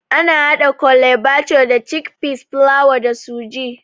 Ana haɗa Kole bathure da cikpeas, fulawa da sooji